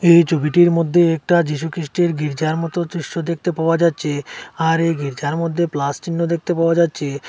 এই ছবিটির মধ্যে একটা যিশুখ্রিষ্টের গির্জার মতো দৃশ্য দেখতে পাওয়া যাচ্ছে আর এই গির্জার মধ্যে প্লাস চিহ্ন দেখতে পাওয়া যাচ্ছে।